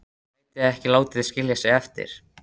Gæti ekki látið skilja sig eftir.